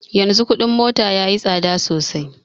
Yanzu kuɗin mota yayi tsada sosai